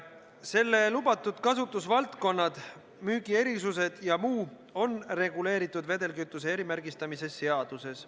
Selle kütuse lubatud kasutusvaldkonnad, müügierisused ja muu on reguleeritud vedelkütuse erimärgistamise seaduses.